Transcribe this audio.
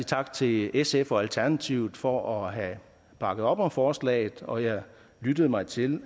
tak til sf og alternativet for at have bakket op om forslaget og jeg lyttede mig til